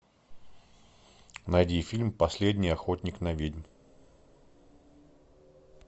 найди фильм последний охотник на ведьм